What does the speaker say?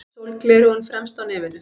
Sólgleraugun fremst á nefinu.